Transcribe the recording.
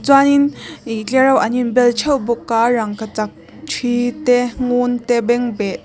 uanin ih tlereuh an inbel theuh bawka rangkachak thi te ngun te bengbeh--